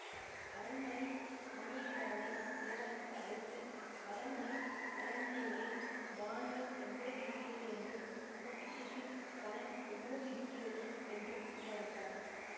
அரண்மனை மணியக்காரனை இளவரசர் அழைத்து அரண்மனை களஞ்சியங்களில் தானியம் எவ்வளவு இருக்கிறது என்றும் பொக்கிஷத்தில் பணம் எவ்வளவு இருக்கிறது என்றும் விசாரித்தார்